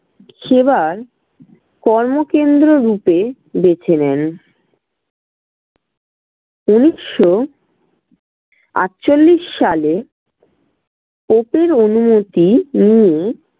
সেবার কর্মকেন্দ্র রূপে বেছে নেন। উনিশশো আটচল্লিশ সালে পোপের অনুমতি নিয়ে